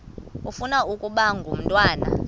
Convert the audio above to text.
ufuna ukaba ngumntwana